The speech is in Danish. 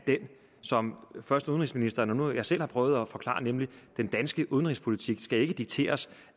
som først udenrigsministeren og nu jeg selv har prøvet at forklare nemlig at den danske udenrigspolitik ikke skal dikteres